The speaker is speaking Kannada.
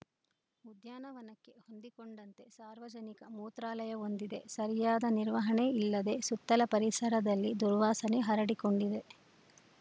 ಉದ್ಯಾನ ವನಕ್ಕೆ ಹೊಂದಿಕೊಂಡಂತೆ ಸಾರ್ವಜನಿಕ ಮೂತ್ರಾಲಯವೊಂದಿದೆ ಸರಿಯಾದ ನಿರ್ವಹಣೆ ಇಲ್ಲದೆ ಸುತ್ತಲ ಪರಿಸರದಲ್ಲಿ ದುರ್ವಾಸನೆ ಹರಡಿಕೊಂಡಿದೆ